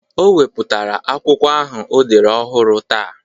O wepụtara akwụkwọ ahụ o dere ọhụrụ taa.